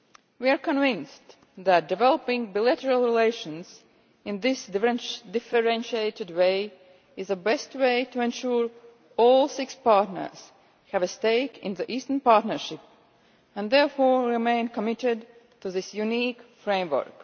We are convinced that developing bilateral relations in this differentiated way is the best way to ensure that all six partners have a stake in the Eastern Partnership and therefore remain committed to this unique framework.